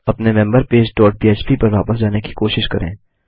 अपने member page dot पह्प पर वापस जाने की कोशिश करें